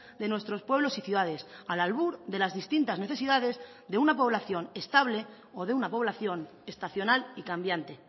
de nuestros pueblos y ciudades al albur de las distintas necesidades de una población estable o de una población estacional y cambiante